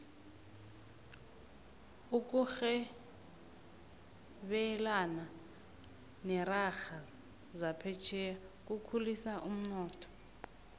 ukurhebelana nerarha zaphetjheya kukhulisa umnotho